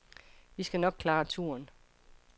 Vi skal nok klare turen.